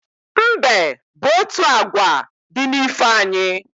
Mbe bụ otu agwa di n'ifo anyị